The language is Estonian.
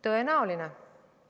Tõenäoline!